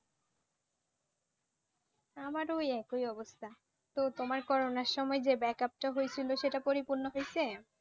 আমার ওই একই অবস্থা তো তোমার করোনার সময় যে Backup টা হয়েছিল সেটা পরিপূর্ণ হয়েছে